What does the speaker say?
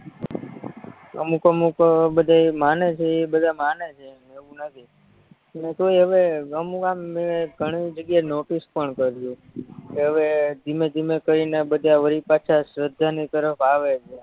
અમુક અમુક ક બધાય માને છે ઇ બધાય માને છે એવું નથી પણ તોય હવે અમુક આમ મેં ઘણી જગ્યાએ નોટીસ પણ કર્યું કે હવે ધીમે ધીમે થયને બધા વરી પાછા શ્રધાની તરફ આવે છે